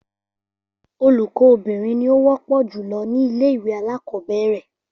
Olùkó obìnrin ni ó wópò jùlo ní ilé ìwé alákòóbèrè